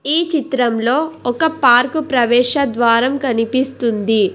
ఈ చిత్రంలో ఒక పార్కు ప్రవేశద్వారం కనిపిస్తుంది.